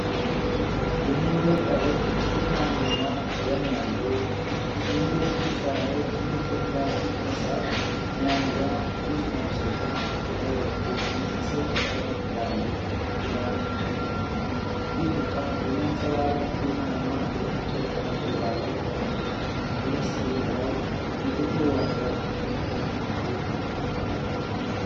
የሚያብረቀርቅ ብርቱካንማ ቀለም ያለው፣ ሲሊንደር ቅርጽ ያለው ትልቅ የፕላስቲክ ፈሳሽ መያዣ (ጁስ ማፍሰሻ) ከላይ በኩል ተመሳሳይ ቀለም ባለው ክዳን ተሸፍኗል። ይህ ዕቃ የሚያንፀባርቅ ቡናማ የእንጨት ጠረጴዛ ላይ ተቀምጧል፣ ከበስተጀርባው የጥቁር ወንበር ክፍል በትንሹ ይታያል።